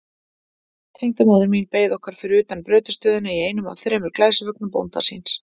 Tengdamóðir mín beið okkar fyrir utan brautarstöðina í einum af þremur glæsivögnum bónda síns.